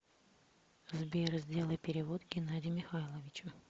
сбер сделать перевод геннадию михайловичу